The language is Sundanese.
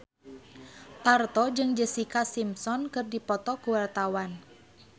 Parto jeung Jessica Simpson keur dipoto ku wartawan